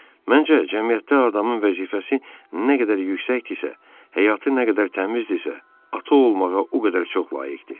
Məncə, cəmiyyətdə adamın vəzifəsi nə qədər yüksəkdirsə, həyatı nə qədər təmizdirsə, ata olmağa o qədər çox layiqdir.